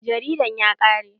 Jaridan ya ƙare.